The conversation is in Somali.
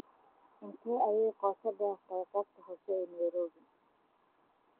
Intee ayay qoto dheer tahay qaybta hoose ee nairobi?